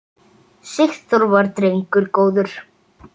Sigþór var drengur góður.